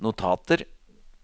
notater